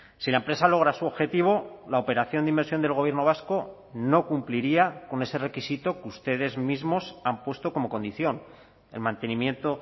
si la empresa logra su objetivo la operación de inversión del gobierno vasco no cumpliría con ese requisito que ustedes mismos han puesto como condición el mantenimiento